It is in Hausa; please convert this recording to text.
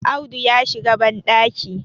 Audu ya shiga bandaki